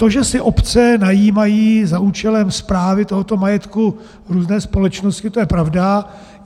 To, že si obce najímají za účelem správy tohoto majetku různé společnosti, to je pravda.